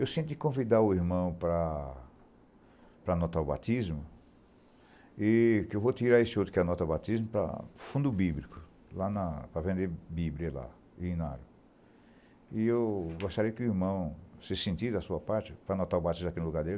Eu senti convidar o irmão para para anotar o batismo, e que eu vou tirar este outro que é anotar o batismo para fundo bíblico, lá na, para vender bíblia lá, e na, e eu gostaria que o irmão se sentisse a sua parte para anotar o batismo aqui no lugar dele.